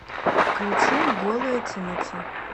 включи голая тимати